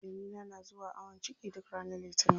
Jamila na zuwa awon ciki duk ranar litinin.